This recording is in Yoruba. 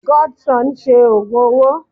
Godson ṣe ògùn owó.